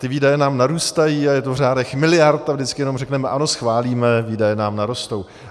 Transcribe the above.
Ty výdaje nám narůstají a je to v řádech miliard a vždycky jenom řekneme ano, schválíme, výdaje nám narostou.